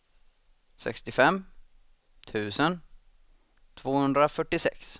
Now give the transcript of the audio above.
sextiofem tusen tvåhundrafyrtiosex